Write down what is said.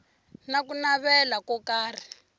na ku navela ko karhi